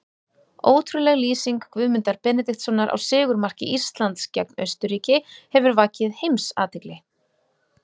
Ótrúleg lýsing Guðmundar Benediktssonar á sigurmarki Íslands gegn Austurríki hefur vakið heimsathygli.